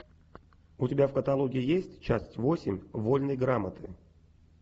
у тебя в каталоге есть часть восемь вольной грамоты